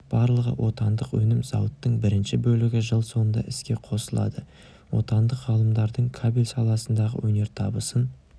барлығы отандық өнім зауыттың бірінші бөлігі жыл соңында іске қосылады отандық ғалымдардың кабель саласындағы өнертабысын